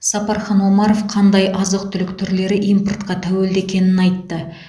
сапархан омаров қандай азық түлік түрлері импортқа тәуелді екенін айтты